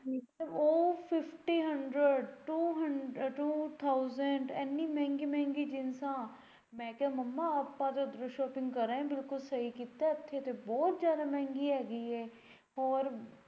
ਉਹ fifty hundred two hundred thousand ਏਨੀ ਮਹਿੰਗੀ ਮਹਿੰਗੀ jeans ਮੈਂ ਕਿਹਾ ਮੰਮਾ ਆਪਾਂ ਤਾਂ ਉੱਧਰੋਂ shopping ਕਰ ਆਏ ਬਿਲਕੁਲ ਸਹੀ ਕੀਤਾ ਇੱਥੇ ਤਾਂ ਬਹੁਤ ਜਿਆਦਾ ਮਹਿੰਗੀ ਐ ਹੈਗੀ ਹੋਰ।